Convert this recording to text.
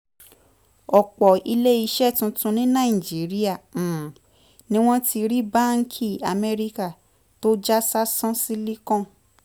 ọ̀pọ̀ ilé iṣẹ́ tuntun ní nàìjíríà um ni wọ́n ti rí báńkì amẹ́ríkà tó já sásán silicon